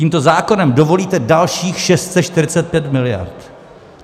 Tímto zákonem dovolíte dalších 645 miliard.